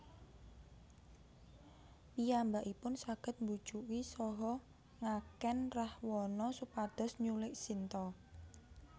Piyambakipun saged mbujuki saha ngakèn Rahwana supados nyulik Sinta